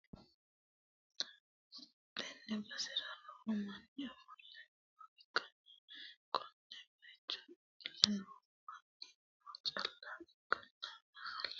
Tenne basera lowo manni ofolle nooha ikkanna, konne bayicho ofolle noorino meento calla ikkanna, ofolle noo bayichino lowontanni biifadoho, badhensanni hige no seeddanna haqqe no.